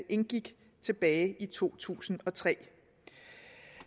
indgik tilbage i to tusind og tre